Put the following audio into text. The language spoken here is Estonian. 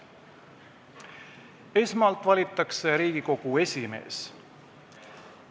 Esmalt valitakse Riigikogu esimees.